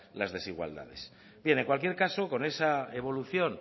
las desigualdades bien en cualquier caso con esa evolución